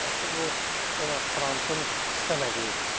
bu Donald Trump-ın istəmədiyi bir şeydir.